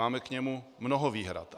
Máme k němu mnoho výhrad.